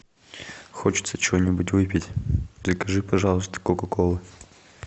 хочется чего нибудь выпить закажи пожалуйста кока колы